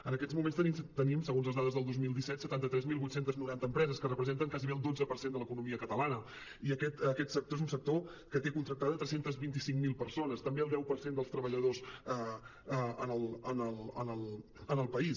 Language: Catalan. en aquests moments tenim segons les dades del dos mil disset setanta tres mil vuit cents i noranta empreses que represen·ten quasi el dotze per cent de l’economia catalana i aquest sector és un sector que té contrac·tades tres cents i vint cinc mil persones també el deu per cent dels treballadors en el país